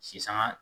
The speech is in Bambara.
Sisanga